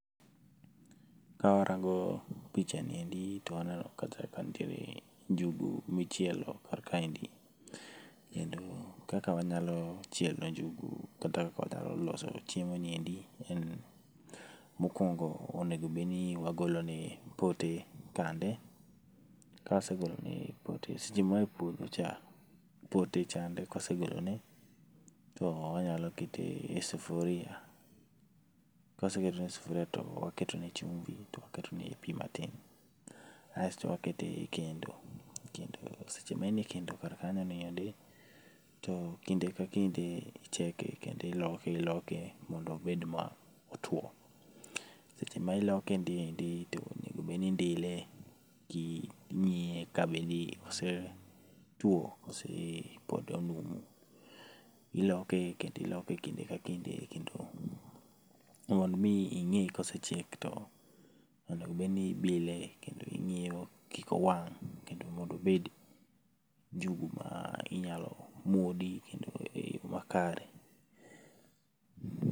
Kawarango pichaniendi to waneno kacha ka nitiere njugu michielo kar kaendi. Kendo kaka wanyalo chielo njugu kata kaka wanyalo loso chiemoniendi, en mokuongo onegobedni wagolone pote kande, kawase golone pote, seche moa epuodho cha, pote chande ka wasegolone to wanyalo keton e sufuria kato waketone chumbi kaeto waketone pi matin. Kasto wakete ekendo. Seche ma en ekendo, kinde ka kinde icheke kendo iloke iloke mondo obed motwo. Seche miloke niendi to onego obed ni indile king'iye ka bedni osetuo kose pod onumu. Iloke kendo iloke kinde ka kinde mondo mi ng'e kosechiek, onego bed ni ibile kendo ing'iye mondo kik owang' kendo mondo obed njugu ma inyalo muodi eyo makare.